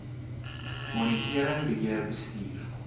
monitering beheer bestuur